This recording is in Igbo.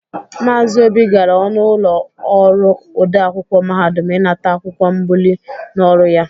Maazị Obi gara ọnụ ụlọ ọrụ ode akwụkwọ mahadum ịnata akwụkwọ mbụlie n'ọrụ ya.